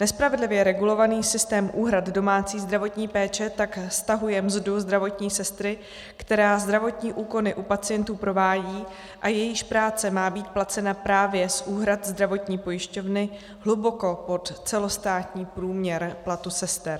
Nespravedlivě regulovaný systém úhrad domácí zdravotní péče tak stahuje mzdu zdravotní sestry, která zdravotní úkony u pacientů provádí a jejíž práce má být placena právě z úhrad zdravotní pojišťovny, hluboko pod celostátní průměr platu sester.